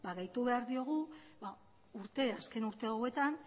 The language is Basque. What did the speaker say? gehitu behar diogu azken urteetan